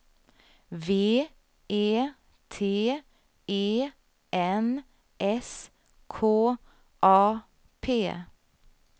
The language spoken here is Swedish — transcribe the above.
V E T E N S K A P